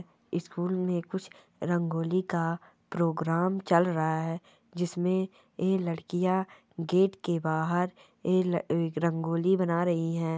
School में कुछ रंगोली का प्रोग्राम चल रहा है जिसमें ए लडकियाँ गेट के बाहर ए रंग-रंगोली बना रही है ।